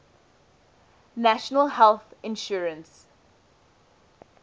national health insurance